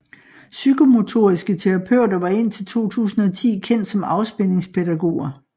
Psykomotoriske terapeuter var indtil 2010 kendt som afspændingspædagoger